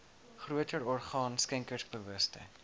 groter orgaan skenkersbewustheid